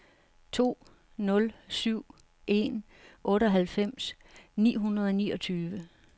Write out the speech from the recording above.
to nul syv en otteoghalvfems ni hundrede og niogtyve